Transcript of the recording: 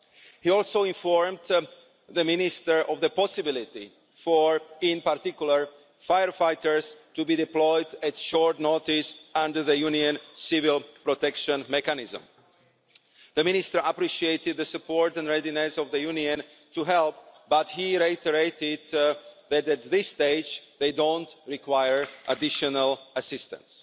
He also informed the Minister of the possibility for, in particular, firefighters to be deployed at short notice under the Union Civil Protection Mechanism. The Minister appreciated the support and readiness of the Union to help, but he reiterated that at this stage they don't require additional assistance.